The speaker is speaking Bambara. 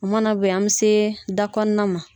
O mana bɔ yen, an mi se da kɔnɔna ma